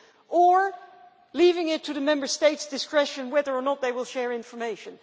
and leaving it to the Member States' discretion whether or not they will share information.